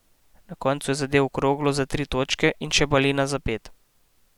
Na koncu je zadel kroglo za tri točke in še balina za pet.